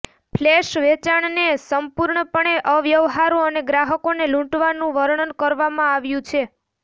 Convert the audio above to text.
flash વેચાણને સંપૂર્ણપણે અવ્યવહારુ અને ગ્રાહકોને લૂંટવાનું વર્ણન કરવામાં આવ્યું છે